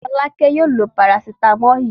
Fọ́lákẹ́ yóò lo parasítámọ̀ yìí.